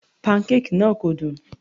Pancake náà kò dùn.